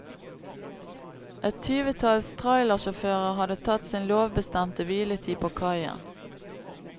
Et tyvetalls trailersjåfører hadde tatt sin lovbestemte hviletid på kaien.